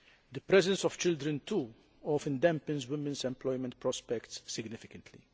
The presence of children, too, often dampens women's employment prospects significantly.